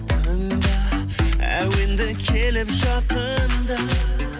тыңда әуенді келіп жақында